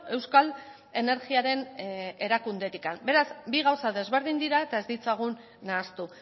euskal energiaren erakundetik beraz bi gauza desberdin dira eta ez ditzagun nahastu